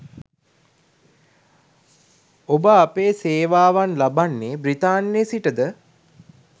ඔබ අපේ සේවාවන් ලබන්නේ බ්‍රිතාන්‍යයේ සිටද